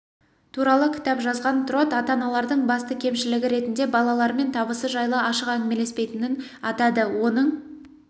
туралы кітап жазған трот ата-аналардың басты кемшілігі ретінде балаларымен табысы жайлы ашық әңгімелеспейтінін атады оның